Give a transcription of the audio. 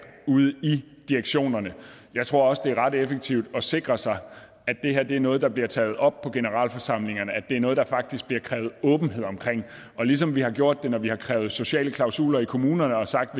ude i direktionerne jeg tror også at det er ret effektivt at sikre sig at det er noget der bliver taget op på generalforsamlingerne at det er noget der faktisk bliver krævet åbenhed omkring og ligesom vi har gjort når vi har krævet sociale klausuler i kommunerne og sagt